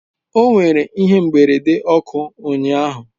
O nwere ihe mberede ọkụ ụnyahụ